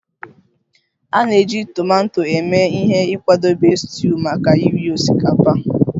A na-eji tomato eme ihe n'ịkwadebe stuuyu maka iri osikapa